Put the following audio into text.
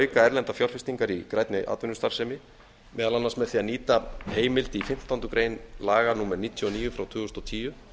auka erlendar fjárfestingar í grænni atvinnustarfsemi meðal annars með því að nýta heimild í fimmtándu grein laga númer níutíu og níu tvö þúsund og tíu